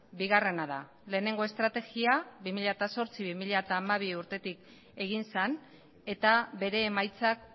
bigarrena da lehenengo estrategia bi mila zortzi bi mila hamabi urtetik egin zen eta bere emaitzak